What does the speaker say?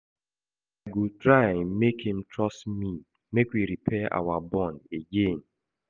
I go try make im trust me make we repair our bond again.